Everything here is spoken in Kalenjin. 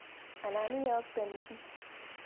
Anan iyokten chi.